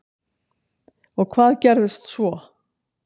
Og hvað gerðist svo?